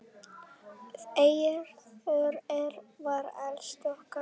Eiður var elstur okkar.